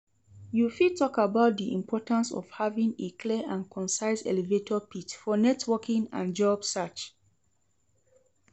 You fit talk about di importance of having a clear and concise elevator pitch for networking and job search.